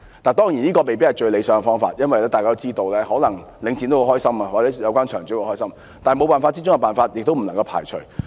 當然，這未必是最理想的方法，因為大家都知道，可能領展或有關場主也會感到很高興，但這是沒辦法中的辦法，不能夠排除。